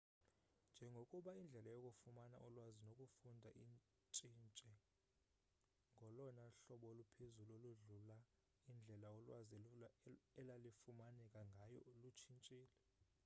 njengokuba indlela yokufumana ulwazi nokufunda intshintshe ngolona hlobo oluphezulu oludlula indlela ulwazi elalifumaneka ngayo lutshintshile